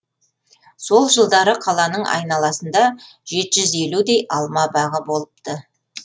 сол жылдары қаланың айналасында жеті жүз елудей алма бағы болыпты